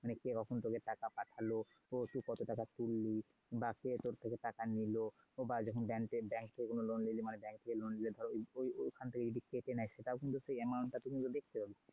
কে কখন তোকে টাকা পাঠালো? তুই কত টাকা তুললি? বাকি রা তোর থেকে টাকা নিলো? বা bank থেকে কোনও loan নিতে বলে তো bank এ loan নিলে ধর ওই ওখান থেকে কেটে নেয় সেটাও amount টা তুই কিন্তু দেখতে পাবি।